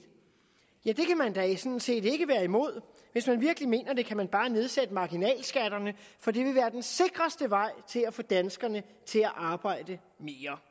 ja det kan man da sådan set ikke være imod hvis man virkelig mener det kan man bare nedsætte marginalskatterne for det vil være den sikreste vej til at få danskerne til at arbejde mere